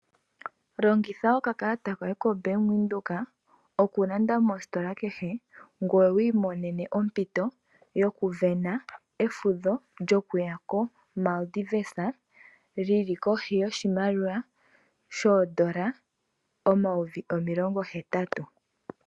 Longitha oka kalata koye koBank Windhoek, oku landa mositola kehe ngoye wu i monene ompito yoku sindana efudho lyo kuya ko Mardivez lyili kohi yoshimaliwa shoondola omayovi omilongo hetatu.